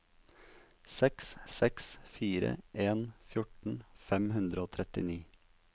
seks seks fire en fjorten fem hundre og trettini